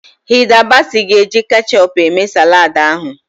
Hilda Baci ga-eji kechup eme saladị ahụ.